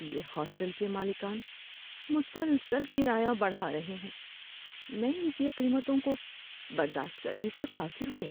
یہ ہاسٹل کے مالکان مسلسل کرایہ بڑھا رہے ہیں، میں ان کی قیمتوں کو برداشت کرنے سے قاصر ہوں۔